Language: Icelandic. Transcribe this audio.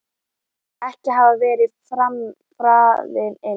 Ekki hafði verið farið inn.